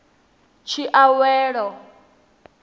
tshiawelo